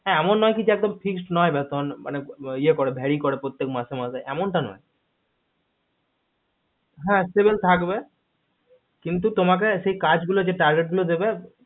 হা এমন নয় যে একদম fresh নয় বেতন মানে ইয়ে করে very করেপ্রত্যেক মাসে মাসে এমন টা নয় সে হা save থাকবে কিন্তু তোমাকে সেই কাজ গুলো target দেবে